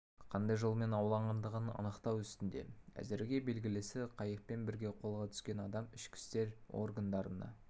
қандай жолмен ауланғандығын анықтау үстінде әзірге белгілісі қайықпен бірге қолға түскен адам ішкі істер органдарына